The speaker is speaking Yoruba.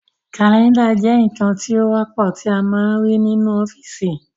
Kàlẹ́ndà jẹ́ ǹkan tí ó wọ́pọ̀ tí a ń máa ń rí nínú ọ́fìsì